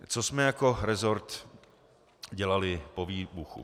Co jsme jako resort dělali po výbuchu.